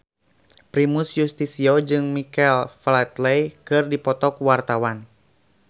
Primus Yustisio jeung Michael Flatley keur dipoto ku wartawan